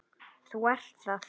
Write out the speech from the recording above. Þú ert það.